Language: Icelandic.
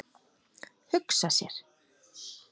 Hugsa sér.